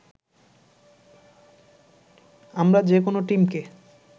আমরা যেকোন টিমকে